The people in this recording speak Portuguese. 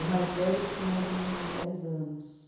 O mais velho tinha mais ou menos uns dez anos.